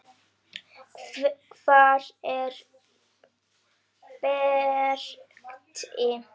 Hvar er Berti?